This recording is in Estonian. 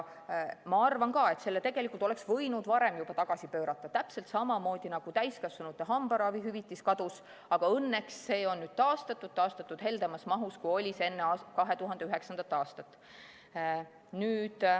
Ma arvan ka, et selle oleks võinud juba varem tagasi pöörata, täpselt samamoodi nagu täiskasvanute hambaravihüvitis, mis kadus, aga õnneks on nüüd taastatud – taastatud heldemas mahus, kui oli enne 2009. aastat.